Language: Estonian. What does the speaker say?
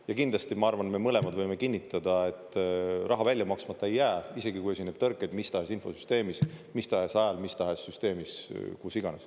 Ja kindlasti, ma arvan, et me mõlemad võime kinnitada, et raha välja maksmata ei jää, isegi kui esineb tõrkeid mis tahes infosüsteemis, mis tahes ajal, mis tahes süsteemis, kus iganes.